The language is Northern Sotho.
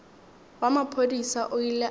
wa maphodisa o ile a